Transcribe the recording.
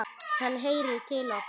Hann heyrir til okkar.